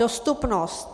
Dostupnost.